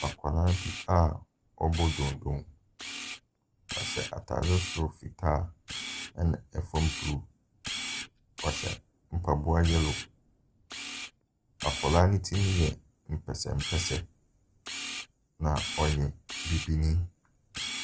Akwadaa bi a ɔrebɔ donno. Ɔhyɛ atare soro fitaa, ɛnna fam blue. Ɔhyɛ mpaboa yɛllow. Akwadaa no ti yɛ mpɛsɛmpɛsɛ, na ɔyɛ bibini.